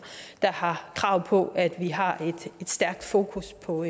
der har krav på at vi har et stærkt fokus på